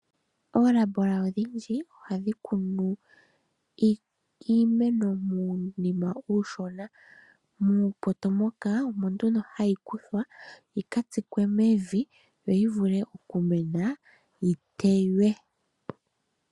Oolabola odhindji ohadhi kunu iimeno muunima uushona. Muupoto moka omo nduno hayi kuthwa yi ka tsikwe mevi, yo yi vule okumena, yi teywe.